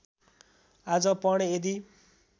आज पढेँ यदि